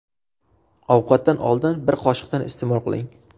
Ovqatdan oldin, bir qoshiqdan iste’mol qiling.